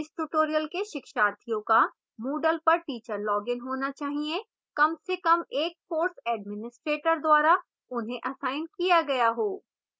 इस tutorial के शिक्षार्थियों का moodle पर teacher login होना चाहिए